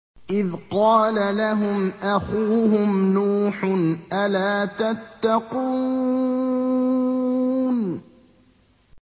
إِذْ قَالَ لَهُمْ أَخُوهُمْ نُوحٌ أَلَا تَتَّقُونَ